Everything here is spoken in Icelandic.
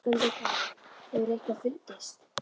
Höskuldur Kári: Hefur eitthvað fundist?